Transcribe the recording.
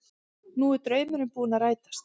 Nú er draumurinn búinn að rætast